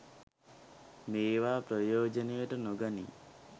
මේවා ප්‍රයෝජනයට නොගනී.